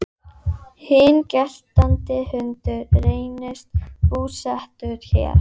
Hinn geltandi hundur reynist búsettur hér.